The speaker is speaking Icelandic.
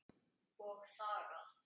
Og þagað.